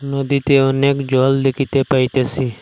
নদীতে অনেক জল দেকিতে পাইতেসি।